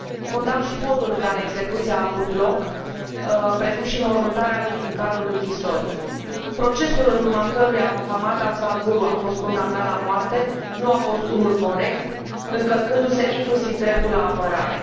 Condamn și modul în care execuția a avut loc, precum și înmormântarea lui în cadrul închisorii. Procesul în urma căruia Mohammad Afzal Guru a fost condamnat la moarte nu a fost unul corect, încălcându se inclusiv dreptul la apărare.